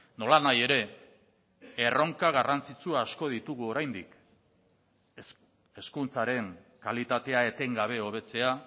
nolanahi ere erronka garrantzitsu asko ditugu oraindik hezkuntzaren kalitatea etengabe hobetzea